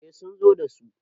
eh sun zo da su